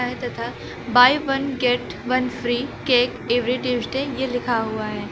है तथा buy one get one free cake every Tuesday ये लिखा हुआ है।